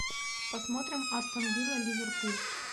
посмотрим астон вилла ливерпуль